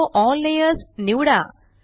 show all layers निवडा